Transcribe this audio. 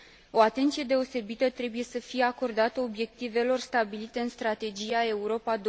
O atenție deosebită trebuie să fie acordată obiectivelor stabilite în strategia Europa